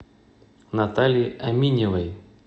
наталье аминевой